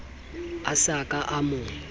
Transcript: a sa ka a mo